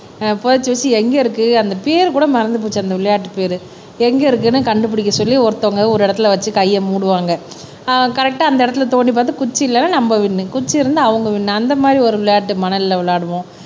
ஆஹ் புதைச்சு வச்சு எங்க இருக்கு அந்த பேரு கூட மறந்து போச்சு அந்த விளையாட்டு பேரு எங்க இருக்குன்னு கண்டுபிடிக்க சொல்லி ஒருத்தவங்க ஒரு இடத்தில வச்சு கையை மூடுவாங்க ஆஹ் கரெக்ட்டா அந்த இடத்தில தோண்டி பார்த்து குச்சியில நம்ம குச்சி இருந்து அவங்க வின்னு அந்த மாரி ஒரு விளையாட்டு மணல்ல விளையாடுவோம்